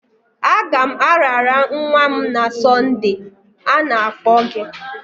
Agam arara nwa m na Sonde, a na-akpọ gị.